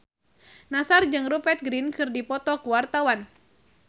Nassar jeung Rupert Grin keur dipoto ku wartawan